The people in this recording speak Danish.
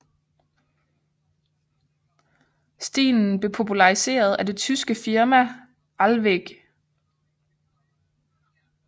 Stilen blev populariseret af det tyske firma ALWEG